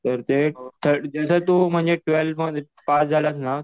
तर ते जसं तू म्हणजे ट्वेल्थ पास झालास ना